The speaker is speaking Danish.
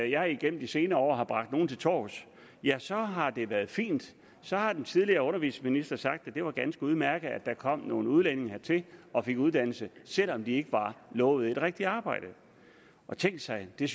jeg igennem de senere år har bragt nogle til torvs ja så har det været fint så har den tidligere undervisningsminister sagt at det var ganske udmærket at der kom nogle udlændinge hertil og fik uddannelse selv om de ikke var lovet et rigtigt arbejde og tænk sig det